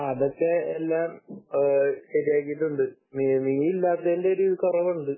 ആഹ് അതൊക്കെ എല്ലാം ശരിയാക്കിയിട്ടുണ്ട് നീ ഇല്ലാത്തതിന്റെ ഒരു കുറവുണ്ട്